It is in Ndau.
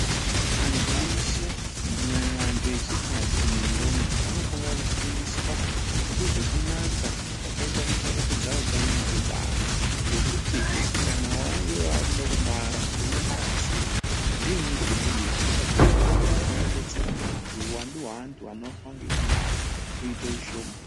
Antu eshe kunyanya antu echikadzi nendombi Anofana kufundiswa ngezvakanaka zvekuchengetedza hutano hwekubara ngekuti hee kana wange wakuda kubara unobara sei zvinyi zvinodiwa usati wabara izvi zvinodetsera uhwandu hwevanhu ngekubara vabara uite ushoma.